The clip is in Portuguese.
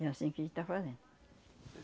É assim que a gente tá fazendo.